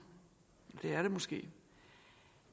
det er det måske